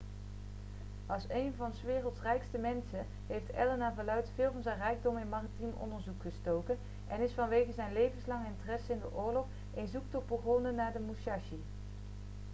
als één van s werelds rijkste mensen heeft allen naar verluidt veel van zijn rijkdom in maritiem onderzoek gestoken en is vanwege zijn levenslange interesse in de oorlog een zoektocht begonnen naar de musashi